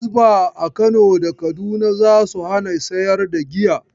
Hisba a Kano da Kaduna za su hana sayar da giya.